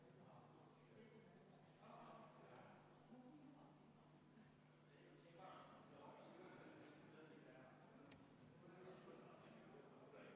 Jõuti järeldusele, et juhtivkomisjonil on kõikide eelnõude puhul teisel lugemisel väga laiad volitused otsustada selle sisu üle, muu hulgas teha eelnõusse parandusi ja teha parandusi ka pärast seda, kui muudatusettepanekute esitamise tähtaeg on lõppenud.